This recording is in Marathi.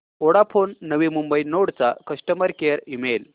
वोडाफोन नवी मुंबई नोड चा कस्टमर केअर ईमेल